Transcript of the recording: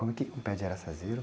Como é que é um pé de araçazeiro...